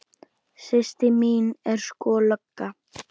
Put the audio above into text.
Systir mín er sko lögga